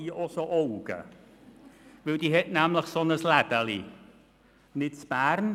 Sie hat einen Laden – allerdings in Thun, nicht in Bern.